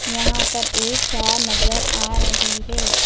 यहां पर एक कार नजर आ रही है।